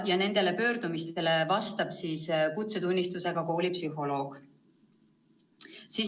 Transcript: Ja nendele pöördumistele vastab kutsetunnistusega koolipsühholoog.